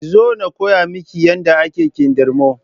Kin zo na koya miki yadda ake kindirmo?